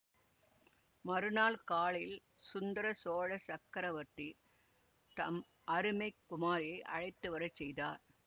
மறுநாள் காலையில் சுந்தர சோழ சக்கரவர்த்தி தம் அருமை குமாரியை அழைத்துவரச் செய்தார்